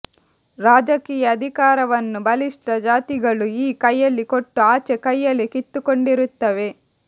ರಾಜಕೀಯ ಅಧಿಕಾರವನ್ನು ಬಲಿಷ್ಠ ಜಾತಿಗಳು ಈ ಕೈಯಲ್ಲಿ ಕೊಟ್ಟು ಆಚೆ ಕೈಯಲ್ಲಿ ಕಿತ್ತುಕೊಂಡಿರುತ್ತವೆ